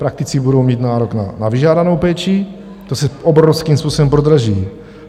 Praktici budou mít nárok na vyžádanou péči, to se obrovským způsobem prodraží.